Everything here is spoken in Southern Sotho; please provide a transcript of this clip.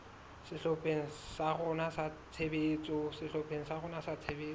sehlopheng sa rona sa tshebetso